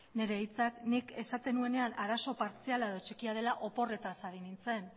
nire hitzak nik esaten nuenean arazo partziala edo txikia dela oporretaz ari nintzen